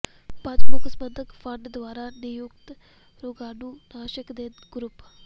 ਪੰਜ ਮੁੱਖ ਸਬੰਧਤ ਫੰਡ ਦੁਆਰਾ ਨਿਯੁਕਤ ਰੋਗਾਣੂਨਾਸ਼ਕ ਦੇ ਗਰੁੱਪ